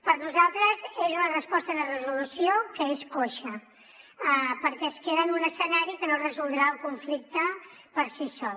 per nosaltres és una proposta de resolució que és coixa perquè es queda en un escenari que no resoldrà el conflicte per si sol